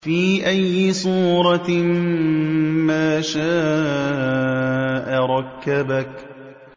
فِي أَيِّ صُورَةٍ مَّا شَاءَ رَكَّبَكَ